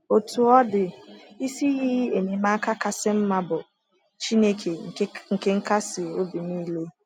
Otú ọ dị, isi iyi enyemaka kasị mma bụ “ Chineke nke nkasi obi nile. ”